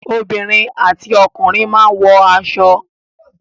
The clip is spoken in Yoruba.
Obìnrin àti ọkùnrin máa ń wọ aṣọ.